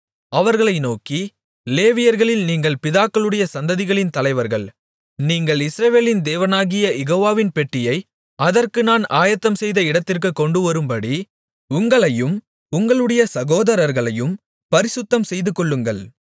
அவர்களை நோக்கி லேவியர்களில் நீங்கள் பிதாக்களுடைய சந்ததிகளின் தலைவர்கள் நீங்கள் இஸ்ரவேலின் தேவனாகிய யெகோவாவின் பெட்டியை அதற்கு நான் ஆயத்தம்செய்த இடத்திற்குக் கொண்டுவரும்படி உங்களையும் உங்களுடைய சகோதரர்களையும் பரிசுத்தம்செய்துகொள்ளுங்கள்